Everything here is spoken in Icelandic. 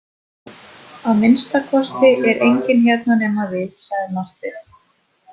Að minnsta kosti er enginn hérna nema við, sagði Marteinn.